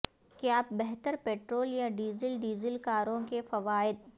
کیا بہتر پٹرول یا ڈیزل ڈیزل کاروں کے فوائد